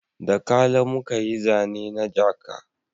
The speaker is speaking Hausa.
Da kala muka yi zane na jaka